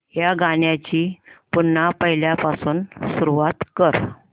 या गाण्या ची पुन्हा पहिल्यापासून सुरुवात कर